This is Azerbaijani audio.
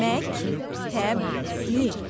Məktəbli.